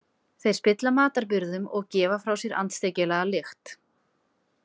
Þeir spilla matarbirgðum og gefa frá sér andstyggilega lykt.